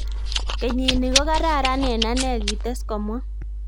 "Kenyini kokararan en ane" kites komwa